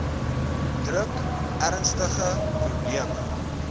druk ernstige probleme